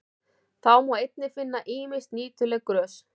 Þá má einnig finna ýmis nýtileg grös.